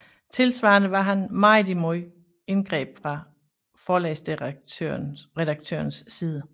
Tilsvarende var han meget imod indgreb fra forlagsredaktørernes side